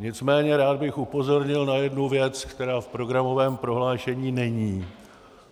Nicméně rád bych upozornil na jednu věc, která v programovém prohlášení není